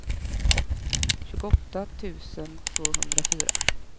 tjugoåtta tusen tvåhundrafyra